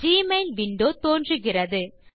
Gmail window தோன்றுகிறது